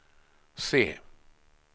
se